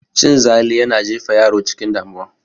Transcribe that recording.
Cin zali yana jefa yaro cikin damuwa